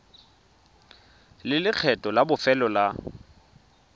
le lekgetho la bofelo la